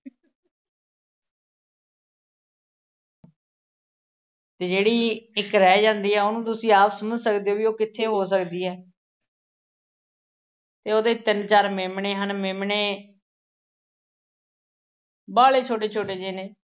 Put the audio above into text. ਤੇ ਜਿਹੜੀ ਇੱਕ ਰਹਿ ਜਾਂਦੀ ਐ, ਉਹਨੂੰ ਤੁਸੀਂ ਆਪ ਸਮਝ ਓ ਵੀ ਉਹ ਕਿੱਥੇ ਹੋ ਸਕਦੀ ਐ। ਤੇ ਉਹਦੇ ਤਿੰਨ-ਚਾਰ ਮੇਮਣੇ ਹਨ, ਮੇਮਣੇ ਵਾਅਲੇ ਛੋਟੇ-ਛੋਟੇ ਜੇ ਨੇ।